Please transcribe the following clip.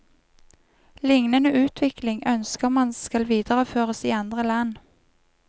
Liknende utvikling ønsker man skal videreføres i andre land.